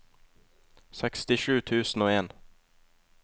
sekstisju tusen og en